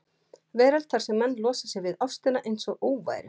veröld þar sem menn losa sig við ástina einsog óværu.